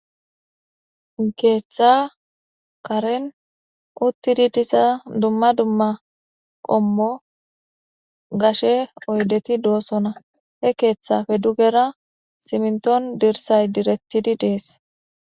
keeththa karen uttidi disa dumma dumma qommo gashe oydeti doosona he keeththafe dugera siminton dirsay direttidi dees.